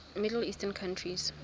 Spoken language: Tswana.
middle eastern countries